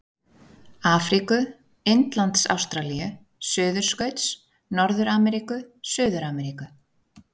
Afríku-, Indlands-Ástralíu-, Suðurskauts-, Norður-Ameríku-, Suður-Ameríku-